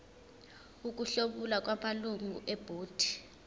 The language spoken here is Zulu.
ukuhlomula kwamalungu ebhodi